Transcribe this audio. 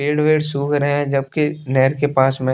पेड़ वेड सूख रहे हैं जबकि नहर के पास में--